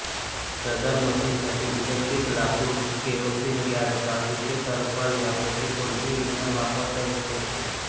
सदर मशीनसाठी इलेक्ट्रिक लाकूड केरोसीन गॅस काजूचे टरफल यांपैकी कोणतेही इंधन वापरता येऊ शकते